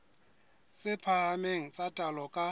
tse phahameng tsa taolo ka